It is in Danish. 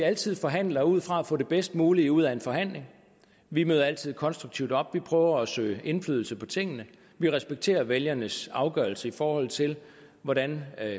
altid forhandler ud fra at få det bedst mulige ud af en forhandling vi møder altid konstruktivt op vi forsøger at få indflydelse på tingene vi respekterer vælgernes afgørelse i forhold til hvordan